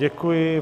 Děkuji.